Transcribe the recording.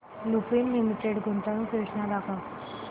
Lupin limited गुंतवणूक योजना दाखव